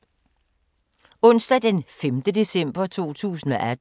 Onsdag d. 5. december 2018